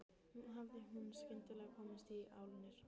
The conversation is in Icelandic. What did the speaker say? Nú hafði hún skyndilega komist í álnir.